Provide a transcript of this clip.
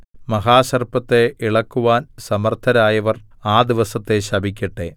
മഹാസർപ്പത്തെ ഇളക്കുവാൻ സമർത്ഥരായവർ ആ ദിവസത്തെ ശപിക്കട്ടെ